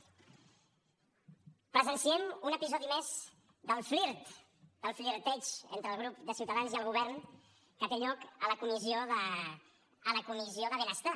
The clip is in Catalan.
presenciem un episodi més del flirt el flirteig entre el grup de ciutadans i el govern que té lloc a la comissió de benestar